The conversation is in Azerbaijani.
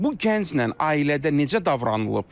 Bu gənclə ailədə necə davranılıb?